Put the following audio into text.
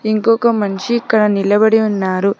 ఇంకొక మనిషి ఇక్కడ నిలబడి ఉన్నారు.